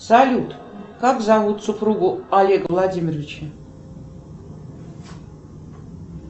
салют как зовут супругу олега владимировича